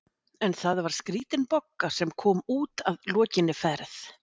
En það var skrítin Bogga sem kom út að lokinni ferð.